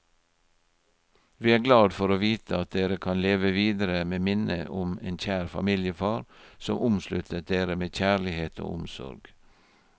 Vi er glad for å vite at dere kan leve videre med minnet om en kjær familiefar som omsluttet dere med kjærlighet og omsorg.